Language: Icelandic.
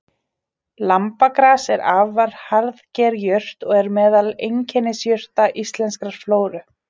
Lambagras er afar harðger jurt og er meðal einkennisjurta íslenskrar flóru.